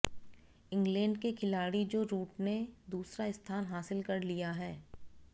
England के खिलाड़ी Joe Root ने दूसरा स्थान हासिल कर लिया है